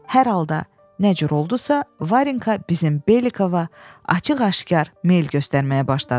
Hər halda nə cür oldusa Varinka bizim Belikova açıq-aşkar meyl göstərməyə başladı.